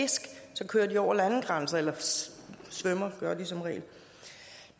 fisk så kører de over landegrænser eller svømmer gør de som regel